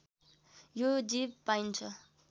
यो जीव पाइन्छ